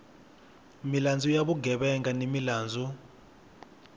milandzu ya vugevenga ni milandzu